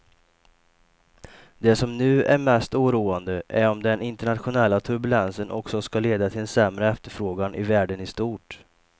Det som nu är mest oroande är om den internationella turbulensen också ska leda till en sämre efterfrågan i världen i stort.